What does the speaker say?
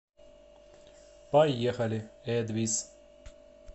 поехали эдвис